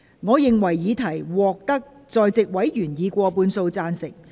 我認為議題獲得在席委員以過半數贊成。